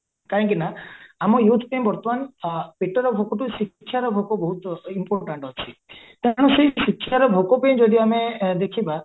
କାହିଁକି ନା ଆମ youth ପାଇଁ ବର୍ତମାନ ପେଟର ଭୋକଠୁ ଶିକ୍ଷା ଭୋକ ବହୁତ important ଅଛି ତେଣୁ ସେଇ ଶିକ୍ଷାର ଭୋକ ପାଇଁ ଯଦି ଆମେ ଦେଖିବା